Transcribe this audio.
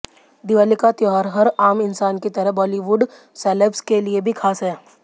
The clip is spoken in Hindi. दिवाली का त्योहार हर आम इंसान की तरह बॉलीवुड सेलेब्स के लिए भी खास है